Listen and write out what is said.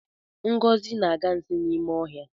Ngozi na-aga nsi n'ime ọhịa